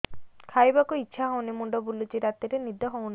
ଖାଇବାକୁ ଇଛା ହଉନି ମୁଣ୍ଡ ବୁଲୁଚି ରାତିରେ ନିଦ ହଉନି